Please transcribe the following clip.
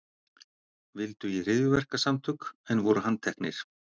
Vildu í hryðjuverkasamtök en voru handteknir